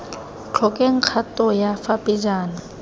tlhokeng kgato ya fa pejana